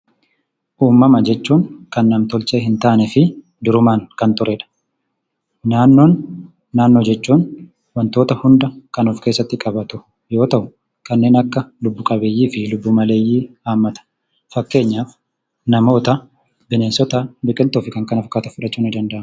Uumama jechuun kan nam-tolchee hin taanee fi duruma kan jiruu dha. Naannoo jechuun immoo wantoota hunda kan of keessatti qabatu yoo ta'u; kaneen akka lubbu qabeeyyii fi lubbu maleeyyii hammata. Fakkeenyaaf: namoota, bineensotaa fi biqiltoota fudhachuun ni danda'ama.